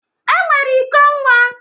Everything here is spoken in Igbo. E nwere iko nwa